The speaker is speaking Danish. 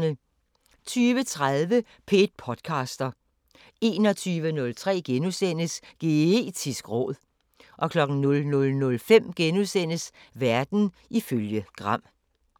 20:30: P1 podcaster 21:03: Geetisk råd * 00:05: Verden ifølge Gram *